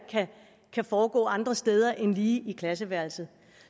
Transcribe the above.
kan foregå andre steder end lige i klasseværelset